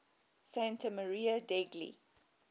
santa maria degli